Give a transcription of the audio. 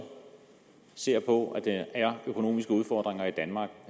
ser på at der er økonomiske udfordringer i danmark